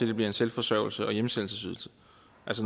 det bliver en selvforsørgelse og hjemsendelsesydelse